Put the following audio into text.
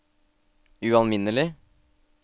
ualminnelig